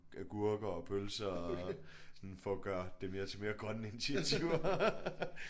Agurker og pølser og sådan for at gøre det mere til mere grønne initiativer